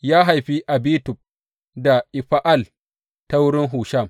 Ya haifi Abitub da Efa’al ta wurin Hushim.